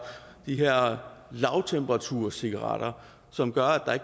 de her lavtemperaturcigaretter som gør at